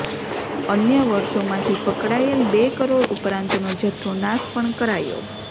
અન્ય વર્ષોમાંથી પકડાયેલ બે કરોડ ઉપરાંતનો જથ્થો નાશ પણ કરાયો